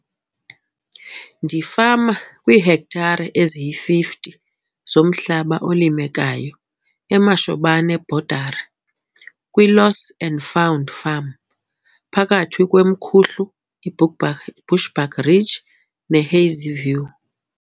Ndifama kwiihektare eziyi-50 zomhlaba olimekayo eMashobane Boerdery, kwiLoss and Found Farm, phakathi kweMkhuhlu, iBushbuckridge, neHazyview.